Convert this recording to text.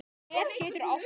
Net getur átt við